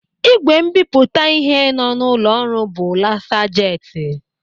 Ị́gwè mbipụta ịhe nọ n'ụlọ ọrụ bụ lasa jeti.